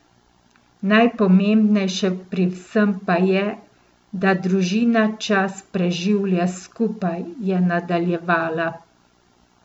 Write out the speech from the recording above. Najpomembnejše pri vsem pa je, da družina čas preživlja skupaj, je nadaljevala.